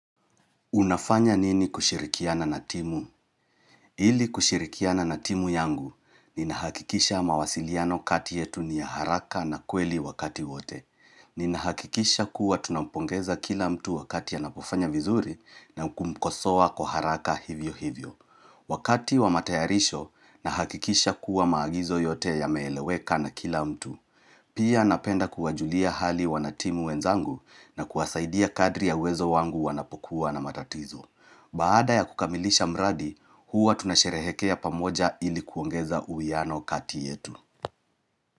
Unafanya nini kushirikiana na timu? Ili kushirikiana na timu yangu, ninahakikisha mawasiliano kati yetu ni ya haraka na kweli wakati wote. Ninahakikisha kuwa tunampongeza kila mtu wakati anapofanya vizuri na kumkosoa kwa haraka hivyo hivyo. Wakati wa matayarisho, nahakikisha kuwa maagizo yote yameeleweka na kila mtu. Pia napenda kuwajulia hali wanatimu wenzangu na kuwasaidia kadri ya uwezo wangu wanapokuwa na matatizo. Baada ya kukamilisha mradi, huwa tunasherehekea pamoja ili kuongeza uwiano kati yetu.